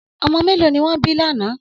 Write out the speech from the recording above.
Ọmọ mẹ́lọ̀ ni wọn bí lánà?